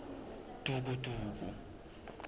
dvukudvuku